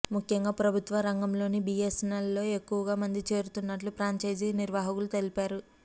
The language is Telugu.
ముఖ్యంగా ప్రభుత్వ రంగంలోని బీఎస్ఎన్ఎల్లో ఎక్కువ మంది చేరుతున్నట్టు ఫ్రాంచైజీ నిర్వాహకులు తెలిపారు